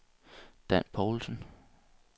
Dan Povlsen